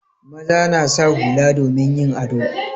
Maza na sa hula domin yin ado.